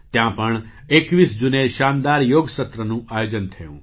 ત્યાં પણ ૨૧ જૂને શાનદાર યોગ સત્રનું આયોજન થયું